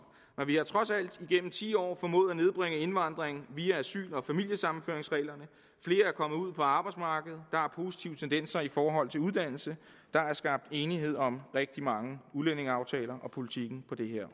men vi har trods alt igennem ti år formået at nedbringe indvandringen via asyl og familiesammenføringsreglerne flere er kommet ud på arbejdsmarkedet der er positive tendenser i forhold til uddannelse der er skabt enighed om rigtig mange udlændingeaftaler og politikken på det her